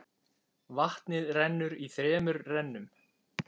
Vatnið rennur í þremur rennum.